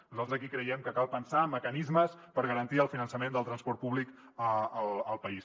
nosaltres aquí creiem que cal pensar mecanismes per garantir el finançament del transport públic al país